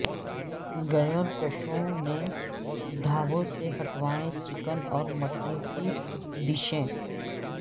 گئورکشکوں نے ڈھابوں سے ہٹوائے چکن اور مٹن کی ڈشیں